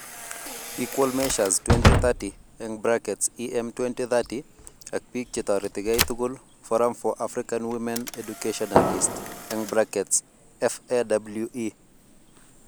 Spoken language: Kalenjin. Equal Measures 2030(EM2030) ak biik chetorerikei tugul ,Forum for African Women Educationalists(FAWE)